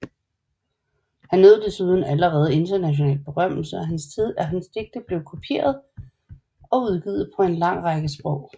Han nød desuden allerede international berømmelse og hans digte blev kopieret og udgivet på en lang række sprog